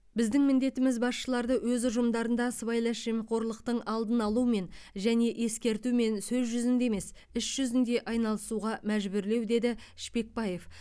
біздің міндетіміз басшыларды өз ұжымдарында сыбайлас жемқорлықтың алдын алумен және ескертумен сөз жүзінде емес іс жүзінде айналысуға мәжбүрлеу деді шпекбаев